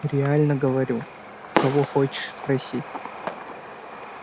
реально говорю у кого хочешь спроси